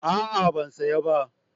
A'a ban saya ba